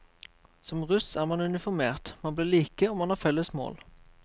Som russ er man uniformert, man blir like og man har felles mål.